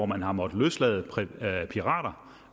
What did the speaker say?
man har måttet løslade pirater